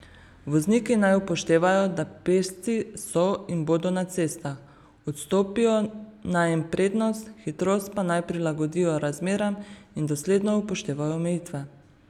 Vozniki naj upoštevajo, da pešci so in bodo na cestah, odstopijo naj jim prednost, hitrost pa naj prilagodijo razmeram in dosledno upoštevajo omejitve.